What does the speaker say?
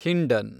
Hindon